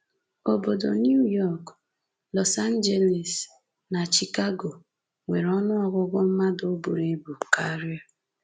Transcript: Obodo New York, Los Angeles, na Chicago nwere ọnụọgụgụ mmadụ buru ibu karịa.